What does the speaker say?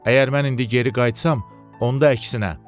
Əgər mən indi geri qayıtsam, onda əksinə.